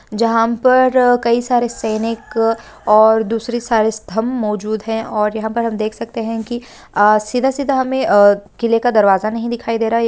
जहाँ पर कई सारे सैनिक और दूसरे सारे स्तम्भ मौजूद है और यहाँ पर हम देख सकते हैं की अ सीधा-सीधा हमें किले का दरवाजा नहीं दिखाई दे रहा ये।